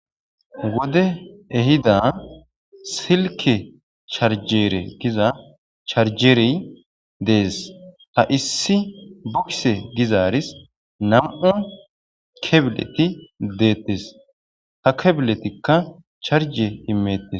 Wode ehida silke charjere giza charjere dees ta issi bukse gizaaris nam7u kebileti deettes ta kebiletikka charje imettes